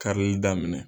Karili daminɛ